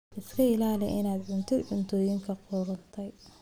Iska ilaali inaad cuntid cuntooyinka qudhuntay.